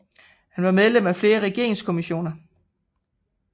Han var medlem af flere regeringskommissioner